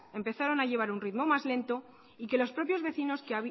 empezaron a llevar un ritmo más lento y que los propios vecinos